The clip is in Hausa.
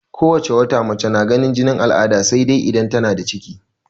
Ko wace wata mace na ganin jinin al'ada sai dai idan tana da ciki.